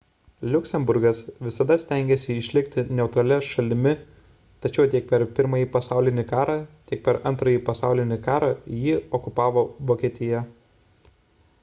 liuksemburgas visada stengėsi išlikti neutralia šalimi tačiau tiek per pirmąjį pasaulinį karą tiek per antrąjį pasaulinį karą jį okupavo vokietija